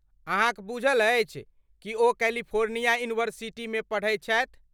अहाँक बूझल अछि कि ओ कैलिफोर्निया यूनिवर्सिटीमे पढ़ैत छथि।